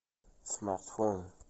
смартфон